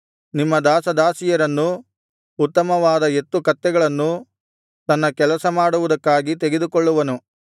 ನಿಮ್ಮ ದಾಸದಾಸಿಯರನ್ನೂ ಉತ್ತಮವಾದ ಎತ್ತು ಕತ್ತೆಗಳನ್ನೂ ತನ್ನ ಕೆಲಸ ಮಾಡುವುದಕ್ಕಾಗಿ ತೆಗೆದುಕೊಳ್ಳುವನು